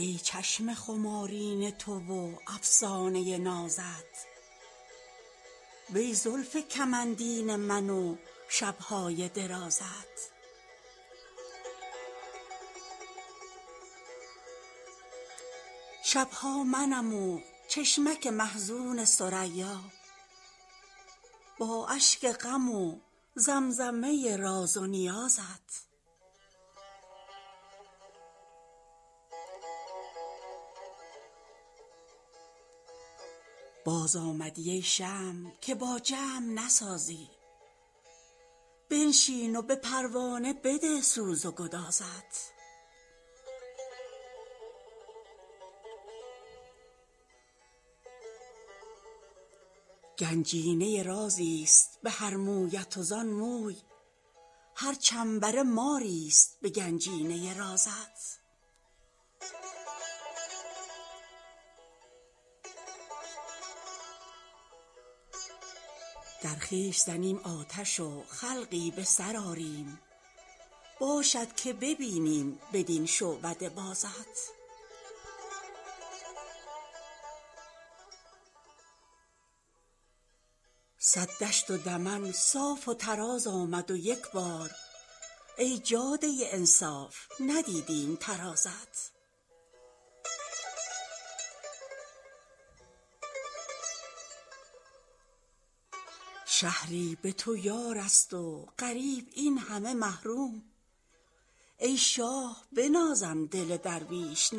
ای چشم خمارین تو و افسانه نازت وی زلف کمندین من و شب های درازت شب ها منم و چشمک محزون ثریا با اشک غم و زمزمه راز و نیازت خود کیستی ای نغمه نوازنده بی سیم امشب به جگر می خوردم زخمه سازت بازآمدی ای شمع که با جمع نسازی بنشین و به پروانه بده سوز و گدازت سر کن به شب و ناله شبگیر من ای دل تا شبرو عشقیم نشیب است و فرازت خوانند نمازم من اگر قبله ندانم ای کعبه دل ها که بخوانم به نمازت گنجینه رازی ست به هر مویت و زان موی هر چنبره ماری ست به گنجینه رازت ای سیب بهشتی به لب و گونه گلگون داغ است دل لاله که دیوی زده گازت در خویش زنیم آتش و خلقی به سر آریم باشد که ببینیم بدین شعبده بازت صد دشت و دمن صاف و تراز آمد و یک بار ای جاده انصاف ندیدیم ترازت شهری به تو یار است و غریب این همه محروم ای شاه بنازم دل درویش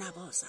نوازت